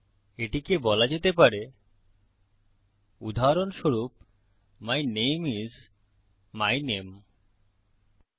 এটিকে বলা যেতে পারে উদাহরস্বরূপ মাই নামে আইএস মাই নামে